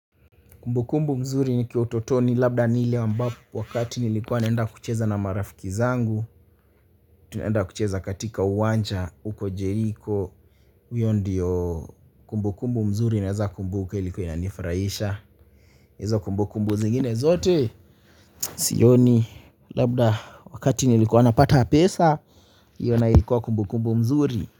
Kumbukumbu nzuri nikiwa utotoni labda ni ile ambapo wakati nilikuwa naenda kucheza na marafiki zangu tunaenda kucheza katika uwanja uko jeriko huyo ndiyo kumbu kumbu mzuri naeza kumbuka ilikuwa inanifurahisha hizo kumbu kumbu zingine zote sioni labda wakati nilikuwa napata pesa hiyo nayo ilikuwa kumbukumbu mzuri.